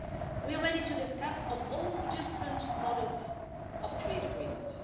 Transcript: We are ready to discuss all different models of trade agreement.